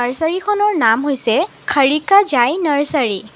নাৰ্চাৰীখনৰ নাম হৈছে খাৰিকা জাই নাৰ্চাৰী ।